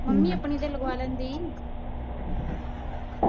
mummy ਆਪਣੀ ਤੋਂ ਲਗਵਾ ਲੈਂਦੀ